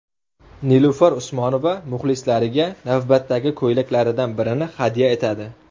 Nilufar Usmonova muxlislariga navbatdagi ko‘ylaklaridan birini hadya etadi.